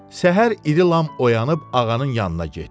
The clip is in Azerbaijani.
Səhər iri lam oyanıb ağanın yanına getdi.